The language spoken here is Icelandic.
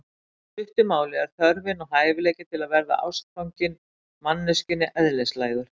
Í stuttu máli er þörfin og hæfileikinn til að verða ástfanginn manneskjunni eðlislægur.